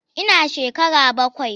Ina shekara bakwai.